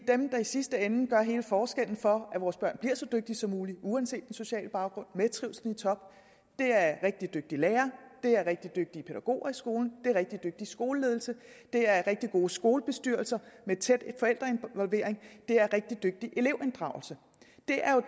dem der i sidste ende gør hele forskellen for at vores børn bliver så dygtige som muligt uanset den sociale baggrund og med trivslen i top er rigtig dygtige lærere det er rigtig dygtige pædagoger i skolen det er rigtig dygtig skoleledelse det er rigtig gode skolebestyrelser med tæt forældreinvolvering det er rigtig dygtig elevinddragelse det er jo